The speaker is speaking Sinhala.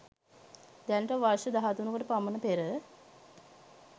දැනට වර්ෂ 13 කට පමණ පෙර